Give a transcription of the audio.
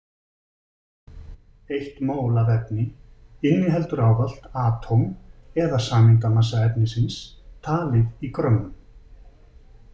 Eitt mól af efni inniheldur ávallt atóm- eða sameindamassa efnisins, talið í grömmum.